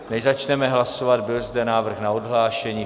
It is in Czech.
Než začneme hlasovat, byl zde návrh na odhlášení.